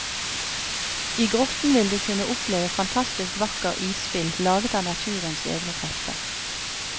I grotten vil du kunne oppleve fantastisk vakker isspill laget av naturens egene krefter.